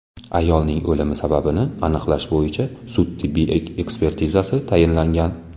Ayolning o‘limi sababini aniqlash bo‘yicha sud-tibbiy ekspertizasi tayinlangan.